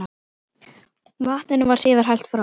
Vatninu var síðan hellt frá.